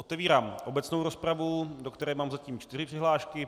Otevírám obecnou rozpravu, do které mám zatím čtyři přihlášky.